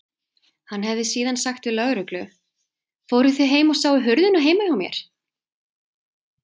Hann hefði síðan sagt við lögreglu: Fóruð þið heim og sáuð hurðina heima hjá mér?